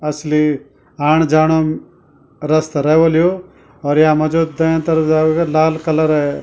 असली आण जाणो रस्ता रै होल यो और यामा जु दै तरफेदार वेका लाल कलरे --